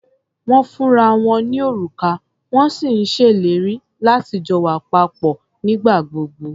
Wọ́n ń fúnra wọn ní òrùka, wọ́n sì ń ṣèlérí láti jọ wà papọ̀ nígbà gbogbo.